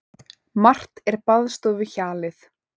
Margt er baðstofuhjalið.